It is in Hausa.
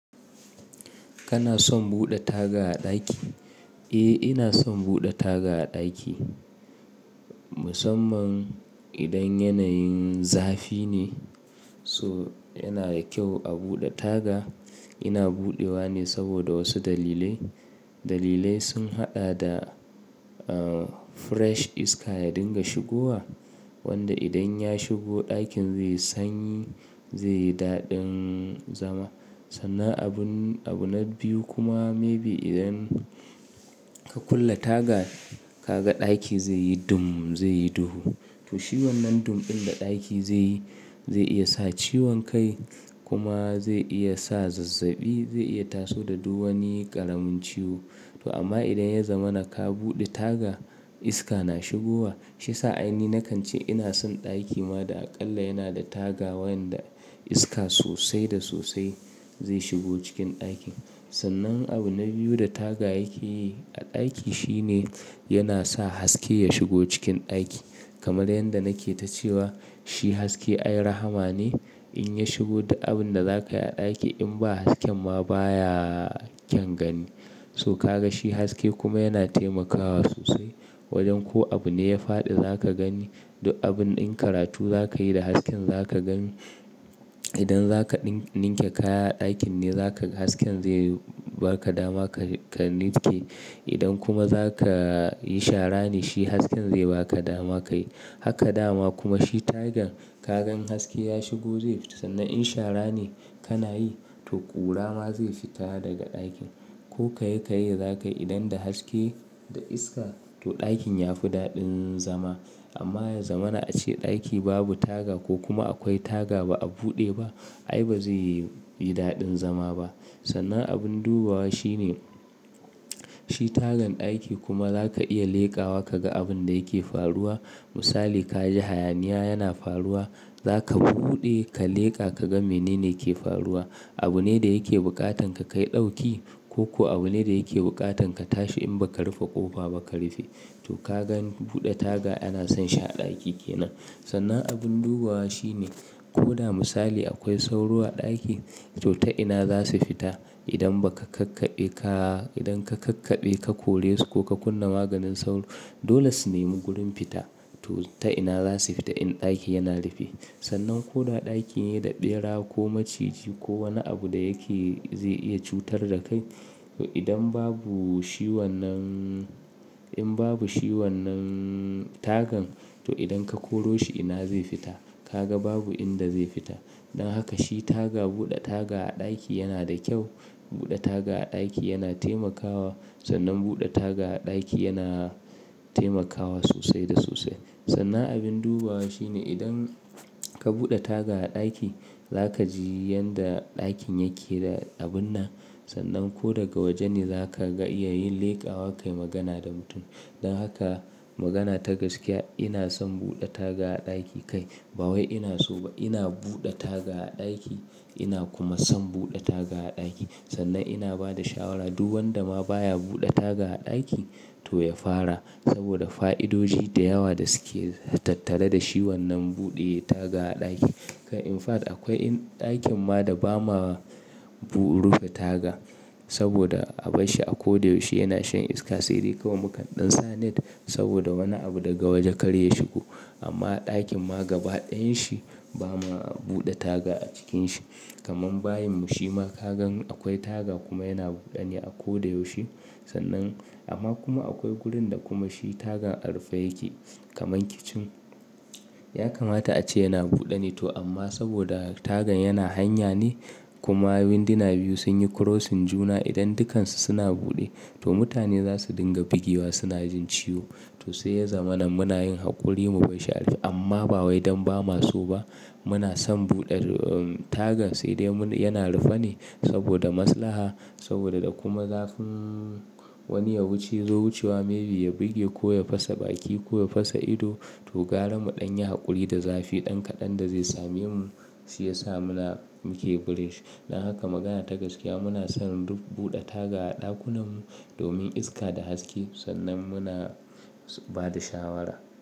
Kana son buɗe taga a ɗaki? Eh, ina son buɗe taga a ɗaki. Musamman idan yanayin zafi ne, so yana da kyau a buɗe taga. Ina buɗewa ne saboda wasu dalilai. Dalilai sun haɗa da, ah, fresh iska ya dinga shigowa wanda idan ya shigo ɗakin zai sanyi, zai yi daɗin zama. Sannan abun, abu na biyu kuma maybe idan ka kulle taga, ka ga ɗaki zai yi dum, zai yi duhu. To shi wannan dum ɗin da ɗaki zai yi, zai iya sa ciwon kai kuma zai iya sa zazzabi, zai iya taso da duk wani ƙaramin ciwo. To amma idan ya zama na ka buɗe taga, iska na shigowa. Shi sa ainihi na kan ce ina son ɗaki ma da aƙalla yana da taga wayanda iska sosai da sosai zai shigo cikin ɗakin. Sannan abu na biyu da taga yake yi a ɗaki shine yana sa haske ya shigo cikin ɗaki. Kamar yanda nake ta cewa shi haske ai rahama ne. In ya shigo di abin da zaka yi a ɗaki in ba hasken ma baya kyan gani. To ka ga shi haske kuma yana taimakawa sosai, wajen ko abu ne ya faɗi za ka gani, duk abun in karatu za ka yi da hasken za ka gani. Idan za ka ɗin- ninke kaya a ɗakin ne, za ka ga hasken zai ba ka dama ka, ka nitke. Idan kuma za ka yi shara ne, shi hasken zai ba ka dama ka yi. Haka dama kuma shi tagan ka ga in haske ya shigo zai fita. Sannan in shara ne kana yi, to ƙura ma zai fita daga ɗakin. Ko ka yi, ka yi za ka yi idan da haske da iska, to ɗakin ya fi daɗin zama. Amma ya zama na a ce ɗaki babu taga ko kuma akwai taga ba a buɗe ba, ai ba zai yi, yi daɗin zama ba. Sannan abin dubawa shine, shi tagan ɗaki kuma za ka iya leƙawa ka ga abin da yake faruwa. Misali ka ji hayaniya yana faruwa, za ka buɗe ka leƙa ka ga mene ne ke faruwa. Abu ne da yake buƙatan ka kai ɗauki ko, ko abu ne da yake buƙatan ka tashi in ba ka rufe ƙofa ba ka rufe. To ka gani buɗe taga ana son shi a ɗaki ke nan. Sannan abin dubawa shine ko da misali akwai sauro a ɗaki, to ta ina za su fita idan ba ka kakkaɓe ka, idan ka kakkaɓe ka kore su ko ka kunna maganin sauro. Dole su nemi gurin fita. To ta ina za su fita in ɗaki yana rufe? Sannan ko da ɗaki ne da ɓera ko maciji ko wani abu da yake zai iya cutar da kai, to idan babu shi wannan, in babu shi wannan tagan, to idan ka koro shi ina zai fita? Ka ga babu inda zai fita. Don haka shi taga, buɗe taga a ɗaki yana da kyau. Buɗe taga a ɗaki yana taimakawa. Sannan buɗe taga a ɗaki yana taimakawa sosai da sosai. Sannan abin dubawa shine idan ka buɗe taga a ɗaki, za ka ji yanda ɗakin yake da abun na. Sannan ko daga waje ne za ka ga iya yin leƙawa kai magana da mutum. Don haka magana ta gaskiya ina son buɗe taga a ɗaki kai. Ba wai ina so ba, ina buɗe taga a ɗaki ina kuma son buɗe taga a ɗaki. Sannan ina ba da shawara duw wanda ma baya buɗe taga a ɗaki to ya fara, saboda fa'idoji da yawa da suke tattare da shi wannan buɗe taga a ɗaki. Kai in fact akwai in ɗakin ma da ba ma bu rufe taga saboda a bashshi a ko da yaushe yana shan iska, sai dai kawai mukan ɗan sa net saboda wani abu daga waje kar ya shigo. Amma a ɗakin ma gaba ɗayan shi ba ma buɗe taga a cikinsa. Kaman bayin mu shi ma ka ga in akwai taga kuma yana buɗe ne a ko da yaushe. Sannan amma kuma akwai gurin da kuma shi tagan a rufe yake kaman kitchen. Ya kamata a ce yana buɗe ne to amma saboda tagan yana hanya ne kuma winduna biyu sun yi crossing juna idan dukansu suna buɗe, to mutane za su dinga bugewa suna jin ciwo. To sai ya zamana muna yin haƙuri mu bashshi a rufe amma ba wai don ba ma so ba. Muna son buɗe, um, tagan sai dai mu, yana rufe ne saboda maslaha, saboda da kuma zafin wani ya wuce zo wucewa maybe ya buge ko ya fasa baki ko ya fasa ido. To gara muɗan yi haƙuri da zafi ɗan kaɗan da zai same mu, shi ya sa muna muke bresh. Don haka magana ta gaskiya muna son duk buɗe taga a ɗakunan mu domin iska da haske sannan muna ba da shawara.